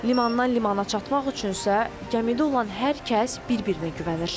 Limandan limana çatmaq üçünsə, gəmidə olan hər kəs bir-birinə güvənir.